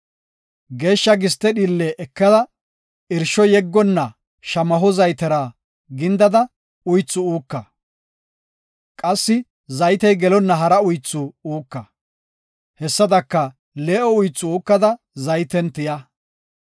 Geeshsha giste dhiille ekada, irsho yeggonna shamaho zaytera gindada uythu uuka. Qassi zaytey gelonna hara uythu uuka; hessadaka, lee7o uythu uukada zayten tiya.